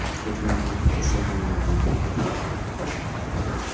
это не имеет отношения ни к деньгам ни к рынкам